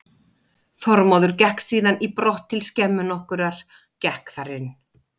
Þormóður gekk síðan í brott til skemmu nokkurrar, gekk þar inn.